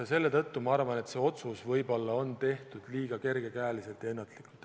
Seetõttu ma arvan, et võib-olla on see otsus tehtud liiga kergekäeliselt ja ennatlikult.